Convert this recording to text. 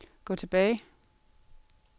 gå tilbage